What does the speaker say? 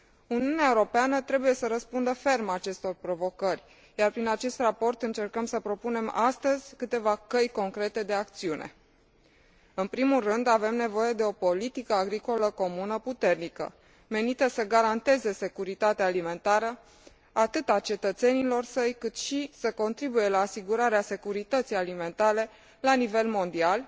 Uniunea Europeană trebuie să răspundă ferm acestor provocări, iar prin acest Raport încercăm să propunem astăzi câteva căi concrete de acțiune. În primul rând, avem nevoie de o politică agricolă comună puternică, menită să garanteze securitatea alimentară atât a cetățenilor săi, cât și să contribuie la asigurarea securității alimentare la nivel mondial,